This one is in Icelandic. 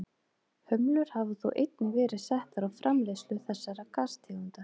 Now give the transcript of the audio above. Hömlur hafa þó einnig verið settar á framleiðslu þessara gastegunda.